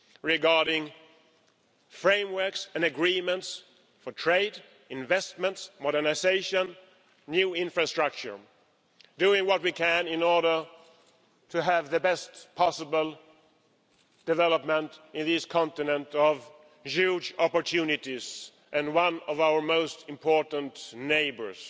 Regarding frameworks and agreements for trade, investments, modernisation, new infrastructure doing what we can in order to have the best possible development in this continent of huge opportunities and one of our most important neighbours.